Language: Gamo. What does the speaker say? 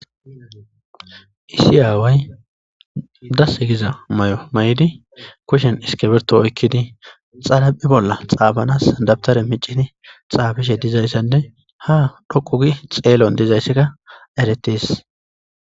Issi away das giza mayo mayidi kushshen iskibrtoto oyqidi xaraphphe bolla xafanass dabtere micdi xafishshe dizayissanne ha xelon dizayssa eretess